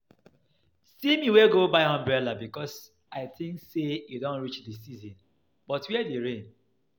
See me wey go buy umbrella because I think say e don reach the season but where the rain